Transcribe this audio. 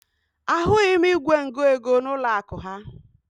Ahụghị m igwe ngụego n'ụlọakụ ha